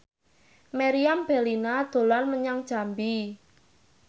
Meriam Bellina dolan menyang Jambi